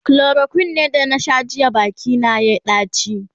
chloroquine da na Sha jiya Baki na yayi daci